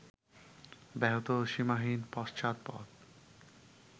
ব্যাহত ও সীমাহীন পশ্চাৎপদ